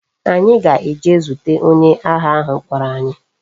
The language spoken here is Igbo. Anyi ga-eje zute onye agha ahu kporo anyi